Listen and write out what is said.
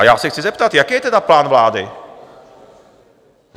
A já se chci zeptat, jaký je tedy plán vlády?